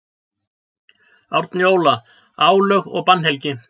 Árni Óla: Álög og bannhelgi.